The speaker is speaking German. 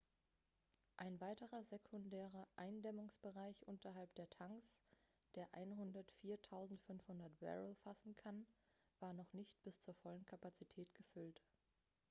ein weiterer sekundärer eindämmungsbereich unterhalb der tanks der 104.500 barrel fassen kann war noch nicht bis zur vollen kapazität gefüllt